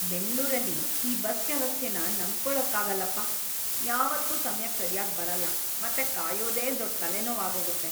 ಬೆಂಗ್ಳೂರಲ್ಲಿ ಈ ಬಸ್‌ ವ್ಯವಸ್ಥೆನ ನಂಬ್ಕೊಳಕ್ಕಾಗಲ್ಲಪ್ಪ, ಯಾವತ್ತೂ ಸಮ್ಯಕ್ ಸರ್ಯಾಗ್ ಬರಲ್ಲ ಮತ್ತೆ ಕಾಯೋದೇ ದೊಡ್‌ ತಲೆನೋವ್‌ ಆಗೋಗತ್ತೆ.